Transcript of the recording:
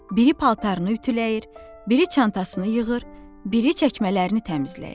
Biri paltarını ütüləyir, biri çantasını yığır, biri çəkmələrini təmizləyir.